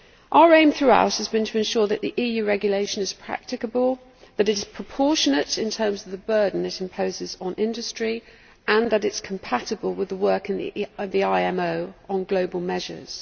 Our aim throughout has been to ensure that the EU regulation is practicable, that it is proportionate in terms of the burden it imposes on industry, and that it is compatible with the work of the IMO on global measures.